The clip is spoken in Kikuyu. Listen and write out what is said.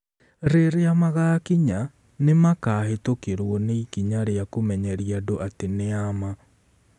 Rĩrĩa magaakinya, nĩ makaahĩtũkĩrũo nĩ ikinya rĩa kũmenyeria andũ atĩ nĩ a ma.